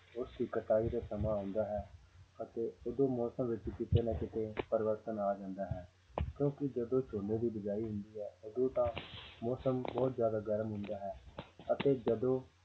ਉਸਦੀ ਕਟਾਈ ਦਾ ਸਮਾਂ ਆਉਂਦਾ ਹੈ ਅਤੇ ਉਦੋਂ ਮੌਸਮ ਵਿੱਚ ਕਿਤੇ ਕਿਤੇ ਨਾ ਕਿਤੇ ਪਰਿਵਰਤਨ ਆ ਜਾਂਦਾ ਹੈ ਕਿਉਂਕਿ ਜਦੋਂ ਝੋਨੇ ਦੀ ਬੀਜਾਈ ਹੁੰਦੀ ਹੈ ਉਦੋਂ ਮੌਸਮ ਬਹੁਤ ਜ਼ਿਆਦਾ ਗਰਮ ਹੁੰਦਾ ਹੈ ਅਤੇ ਜਦੋਂ